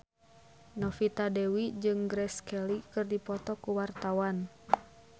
Novita Dewi jeung Grace Kelly keur dipoto ku wartawan